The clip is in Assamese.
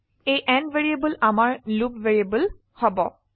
এই n ভ্যাৰিয়েবল আমাৰ লুপ ভ্যাৰিয়েবল হব